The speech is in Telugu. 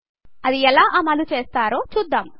ఇది ఎలా అమలు చేస్తారో చూద్దాం